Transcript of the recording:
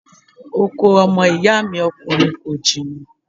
Oko ọmọ ìyá mi ọkùnrin kò jìnnà.